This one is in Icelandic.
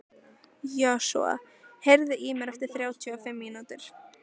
Joshua, heyrðu í mér eftir þrjátíu og fimm mínútur.